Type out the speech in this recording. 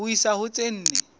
ho isa ho tse nne